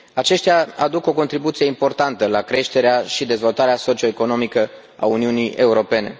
Aceștia aduc o contribuție importantă la creșterea și dezvoltarea socio economică a Uniunii Europene.